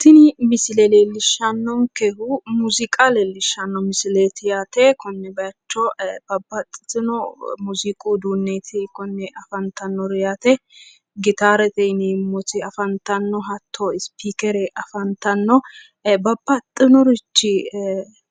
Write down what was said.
Tini misile leellishshannonkehu muziiqa leellishshanno misileti yaate konne bayiicho babbaxxiteyo muziiqu uduunneeti yaate konne bayiicho babbaxxitino muziiqu uduunneeti yaate konne afantannoti gitaarete yinanniti afantanno hatyo spikeere afantanno babbaxxinorichi